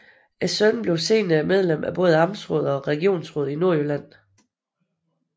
Sønnen blev senere medlem af både amtsrådet og regionsrådet i Nordjylland